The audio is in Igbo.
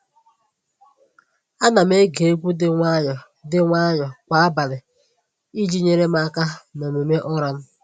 Ana m ege egwu dị nwayọọ dị nwayọọ kwa abalị iji nyere m aka n’omume ụra m.